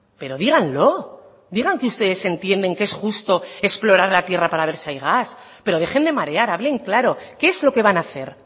pero díganlo digan que ustedes entienden que es justo explorar la tierra para ver si hay gas pero dejen de marear hablen claro qué es lo que van a hacer